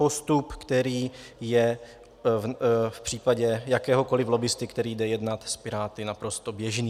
Postup, který je v případě jakéhokoliv lobbisty, který jde jednat s Piráty, naprosto běžný.